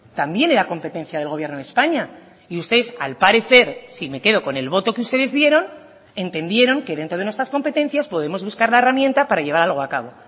también era competencia del gobierno de españa y ustedes al parecer si me quedo con el voto que ustedes dieron entendieron que dentro de nuestras competencias podemos buscar la herramienta para llevar algo a cabo